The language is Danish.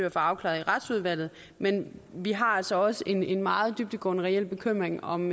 at få afklaret i retsudvalget men vi har altså også en meget dybtgående reel bekymring om